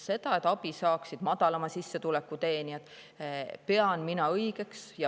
Seda, et abi saaksid madalama sissetuleku teenijad, pean mina õigeks.